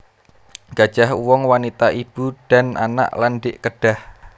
Gajah Uwong Wanita Ibu dan Anak lan Dik Kedah